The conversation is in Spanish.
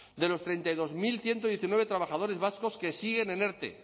de los treinta y dos mil ciento diecinueve trabajadores vascos que siguen en erte